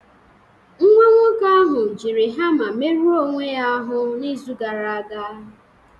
Nwa nwoke ahụ jiri hama merụọ onwe ya ahụ n'izu gara aga